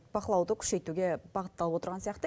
бақылауды күшейтуге бағытталып отырған сияқты